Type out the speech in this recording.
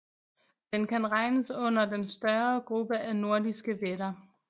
Den kan regnes under den større gruppe af nordiske vætter